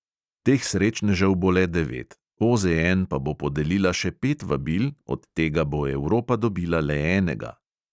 Teh srečnežev bo le devet, OZN pa bo podelila še pet vabil, od tega bo evropa dobila le enega.